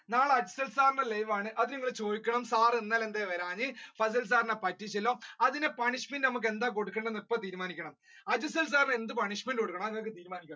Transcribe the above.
എടാ മക്കളെ നാളെ afsal sir ന്റെ live ആണ് അത് നിങ്ങൾ ചോദിക്കണം sir ഇന്നലെ എന്താ വരാതിരുന്നത് നെ fasal sir നെ പറ്റിച്ചല്ലോ അതിന് punishment നമ്മുക്ക് എന്താ കൊടുക്കണ്ടെന്ന് ഇപ്പൊ തീരുമാനിക്കണം afsal sir എന്ത് കൊടുക്കണം